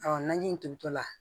naji in tobitɔla